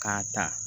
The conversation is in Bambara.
K'a ta